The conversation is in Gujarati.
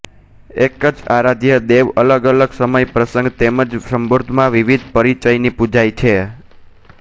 એક જ આરાધ્ય દેવ અલગ અલગ સમય પ્રસંગ તેમ જ સંદર્ભોમાં વીવીધ પરિચયથી પૂજાય છે